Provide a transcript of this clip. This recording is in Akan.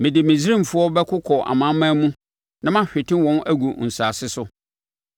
Mede Misraimfoɔ bɛkokɔ amanaman mu na mahwete wɔn agu nsase so.